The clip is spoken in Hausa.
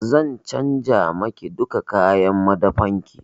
Zan canja ma ki duka kayan madafan ki.